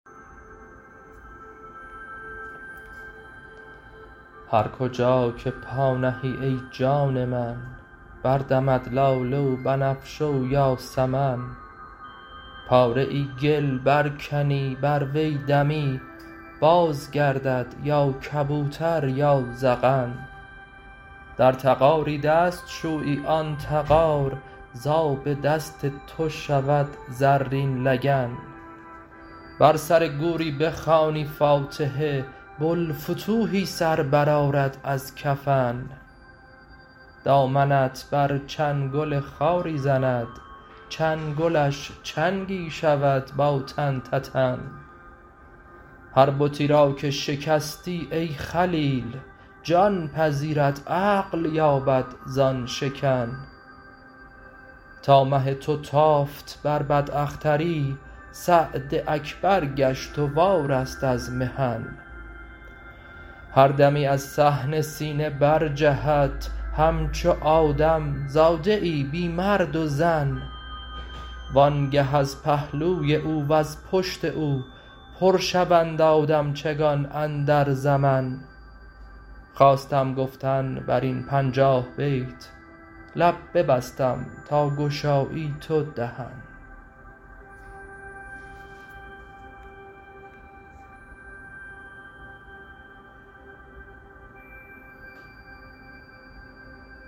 هر کجا که پا نهی ای جان من بردمد لاله و بنفشه و یاسمن پاره گل برکنی بر وی دمی بازگردد یا کبوتر یا زغن در تغاری دست شویی آن تغار ز آب دست تو شود زرین لگن بر سر گوری بخوانی فاتحه بوالفتوحی سر برآرد از کفن دامنت بر چنگل خاری زند چنگلش چنگی شود با تن تنن هر بتی را که شکستی ای خلیل جان پذیرد عقل یابد زان شکن تا مه تو تافت بر بداختری سعد اکبر گشت و وارست از محن هر دمی از صحن سینه برجهد همچو آدم زاده ای بی مرد و زن وآنگه از پهلوی او وز پشت او پر شوند آدمچگان اندر زمن خواستم گفتن بر این پنجاه بیت لب ببستم تا گشایی تو دهن